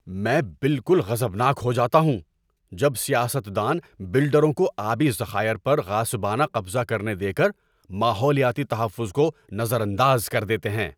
میں بالکل غضبناک ہو جاتا ہوں جب سیاست دان بلڈروں کو آبی ذخائر پر غاصبانہ قضہ کرنے دے کر ماحولیاتی تحفظ کو نظر انداز کر دیتے ہیں۔